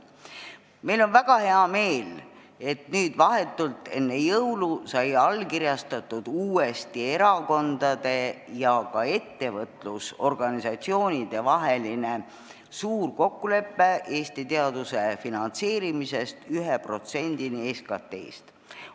Meil on väga hea meel, et vahetult enne jõule sai erakondade ja ettevõtlusorganisatsioonide vahel uuesti allkirjastatud suur kokkulepe, et Eesti teaduse finantseerimine jõuab 1%-ni SKT-st.